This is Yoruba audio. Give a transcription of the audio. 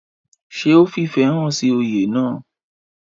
ṣé ó fìfẹ̀ hàn sí oyè náà?